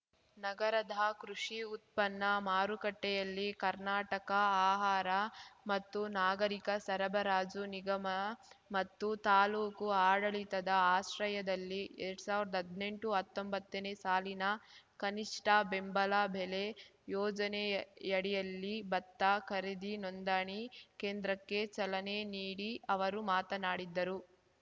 ನಗರದ ಕೃಷಿ ಉತ್ಪನ್ನ ಮಾರುಕಟ್ಟೆಯಲ್ಲಿ ಕರ್ನಾಟಕ ಆಹಾರ ಮತ್ತು ನಾಗರಿಕ ಸರಬರಾಜು ನಿಗಮ ಮತ್ತು ತಾಲೂಕು ಆಡಳಿತದ ಆಶ್ರಯದಲ್ಲಿ ಎರಡ್ ಸಾವಿರ್ದಾ ಹದ್ನೆಂಟುಹತ್ತೊಂಬತ್ತನೇ ಸಾಲಿನ ಕನಿಷ್ಠ ಬೆಂಬಲ ಬೆಲೆ ಯೋಜನೆಯಡಿಯಲ್ಲಿ ಭತ್ತ ಖರೀದಿ ನೊಂದಣಿ ಕೇಂದ್ರಕ್ಕೆ ಚಲನೆ ನೀಡಿ ಅವರು ಮಾತನಾಡಿದರು